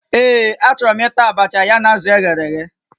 Ee, achọrọ m ịta abacha ya na azụ eghere eghe